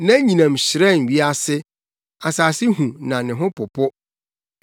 Nʼanyinam hyerɛn wiase; asase hu na ne ho popo.